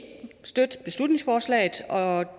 støtte beslutningsforslaget og